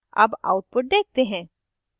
अब output देखते हैं